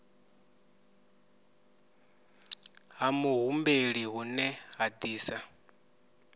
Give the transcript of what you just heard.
ha muhumbeli hune ha disa